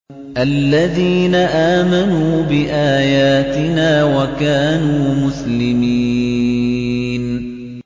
الَّذِينَ آمَنُوا بِآيَاتِنَا وَكَانُوا مُسْلِمِينَ